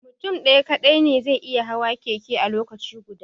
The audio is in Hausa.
Mutum ɗaya kaɗai ne zai iya hawa keke a lokaci guda